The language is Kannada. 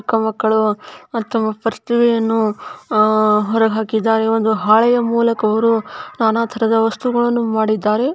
ಚಿಕ್ಕಮಕ್ಕಳು ತಮ್ಮ ಪ್ರತಿಭೆಯನ್ನು ಹೊರಹಾಕಿದ್ದಾರೆ ಒಂದು ಹಾಳೆಯ ಮೂಲಕವು ನಾನಾ ತರಹದ ವಸ್ತುಗಳನ್ನು ಮಾಡಿದ್ದಾರೆ.